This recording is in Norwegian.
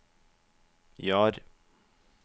Jar